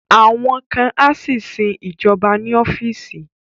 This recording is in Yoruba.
Àwọn kan á sì sin ìjọba ní ọ́fíìsì